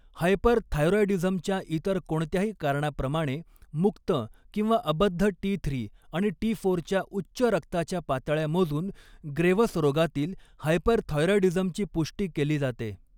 हायपरथायरॉईडीझमच्या इतर कोणत्याही कारणाप्रमाणे, मुक्त किंवा अबद्ध टी थ्री आणि टी फोरच्या उच्च रक्ताच्या पातळ्या मोजून ग्रेव्हस रोगातील हायपरथायरॉईडीझमची पुष्टी केली जाते.